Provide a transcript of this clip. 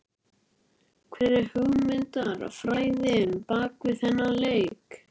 Hver er hugmyndafræðin bakvið þennan leik?